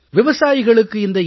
விவசாயிகளுக்கு இந்த என்